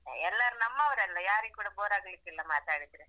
ಎಲ್ಲರು ನಮ್ಮವರೆ ಅಲ್ಲ ಯಾರಿಗು ಕೂಡ bore ಆಗ್ಲಿಕ್ಕಿಲ್ಲ ಮಾತಾಡಿದ್ರೆ.